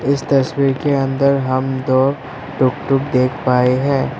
इस तस्वीर के अंदर हम दो टुकटुक देख पाए हैं।